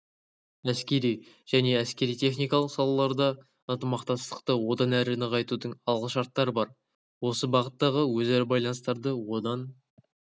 әскери және әскери-техникалық салаларда ынтымақтастықты одан әрі нығайтудың алғышарттары бар осы бағыттағы өзара байланыстарды одан